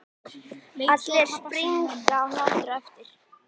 Allir springa af hlátri á eftir.